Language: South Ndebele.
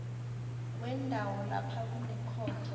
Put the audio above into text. wendawo lapha kunekhotho